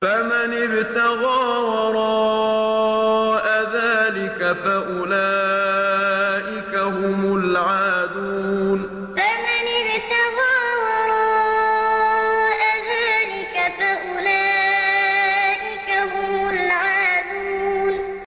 فَمَنِ ابْتَغَىٰ وَرَاءَ ذَٰلِكَ فَأُولَٰئِكَ هُمُ الْعَادُونَ فَمَنِ ابْتَغَىٰ وَرَاءَ ذَٰلِكَ فَأُولَٰئِكَ هُمُ الْعَادُونَ